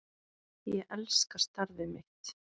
Ég elska starfið mitt.